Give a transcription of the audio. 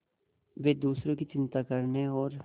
वे दूसरों की चिंता करने और